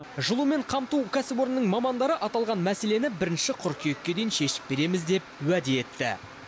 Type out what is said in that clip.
жылумен қамту кәсіпорнының мамандары аталған мәселені бірінші қыркүйекке дейін шешіп береміз деп уәде етті